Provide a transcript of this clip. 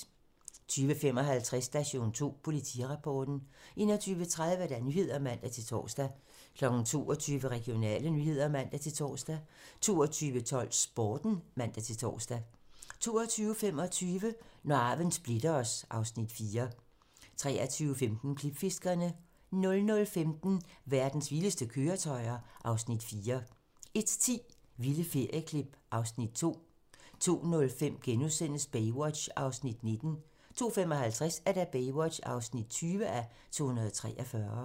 20:55: Station 2: Politirapporten 21:30: Nyhederne (man-tor) 22:00: Regionale nyheder (man-tor) 22:12: Sporten (man-tor) 22:25: Når arven splitter os (Afs. 4) 23:15: Klipfiskerne 00:15: Verdens vildeste køretøjer (Afs. 4) 01:10: Vilde ferieklip (Afs. 2) 02:05: Baywatch (19:243)* 02:55: Baywatch (20:243)